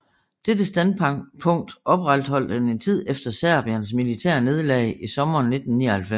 Dette standpunkt opretholdt han en tid efter Serbiens militære nederlag i sommeren 1999